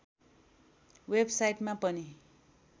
वेबसाइटमा पनि